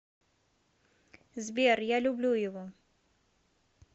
сбер я люблю его